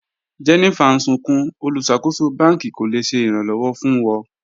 Jennifer n sùnkún, olúṣakòsò bàn̄kì kò le ṣẹ̀ ìràn-lọ́wọ̀ fún wọ̀.